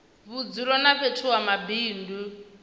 vhudzulo na fhethu ha mabindu